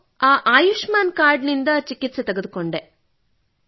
ನಾನು ಆ ಆಯುಷ್ಮಾನ್ ಕಾರ್ಡ್ ನಿಂದ ಚಿಕಿತ್ಸೆ ಪಡೆದುಕೊಂಡೆ